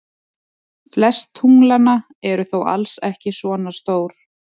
Flest tunglanna eru þó alls ekki svona stór.